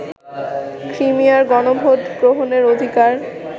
ক্রিমিয়ার গণভোট গ্রহণের অধিকার